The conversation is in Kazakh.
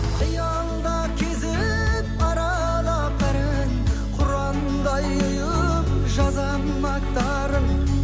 қиялда кезіп аралап бәрін құрандай ұйып жазамын аттарын